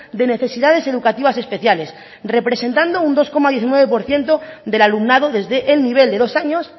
de necesidades educativas especiales representando un dos coma diecinueve por ciento del alumnado desde el nivel de dos años